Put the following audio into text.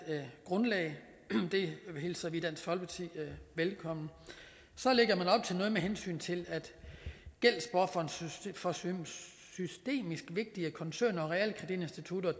grundlag det hilser vi i dansk folkeparti velkommen med hensyn til gældsbufferen for systemisk vigtige koncerner og realkreditinstitutter